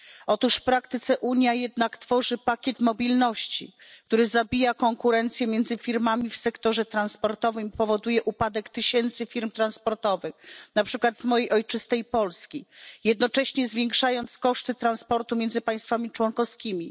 Otóż w praktyce Unia tworzy jednak pakiet mobilności, który zabija konkurencję między firmami w sektorze transportowym i powoduje upadek tysięcy firm transportowych, np. z mojej ojczystej Polski, jednocześnie zwiększając koszty transportu między państwami członkowskimi.